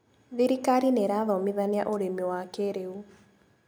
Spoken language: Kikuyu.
Thirikari nĩirathomithania ũrĩmi wa kĩrĩu.